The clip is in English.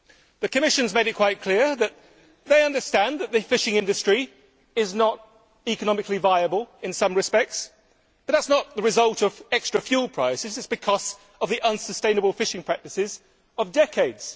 The Commission has made it quite clear that they understand that the fishing industry is not economically viable in some respects, but that is not the result of extra fuel prices. It is because of the unsustainable fishing practices of decades.